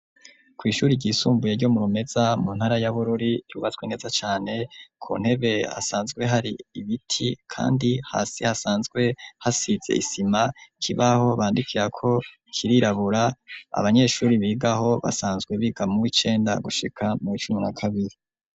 Kw'ishuri ryisumbuye ryo mu Rumeza mu ntara ya Bururi ryubatwe neza cane, ku ntebe hasanzwe hari ibiti, kandi hasi hasanzwe hasize isima. Ikibaho bandikirako kirirabura, abanyeshuri bigaho basanzwe biga muw'icenda gushika muw'icumi na kabiri.